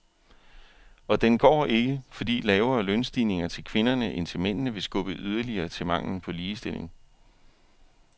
Og den går ikke, fordi lavere lønstigninger til kvinderne end til mændene vil skubbe yderligere til manglen på ligestilling.